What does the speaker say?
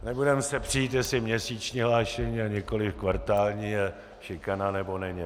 Nebudeme se přít, jestli měsíční hlášení, a nikoli kvartální je šikana, nebo není.